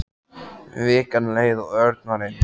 Vikan leið og Örn var einmana.